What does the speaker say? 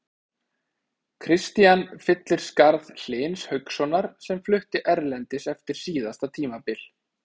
Kristian fyllir skarð Hlyns Haukssonar sem flutti erlendis eftir síðasta tímabil.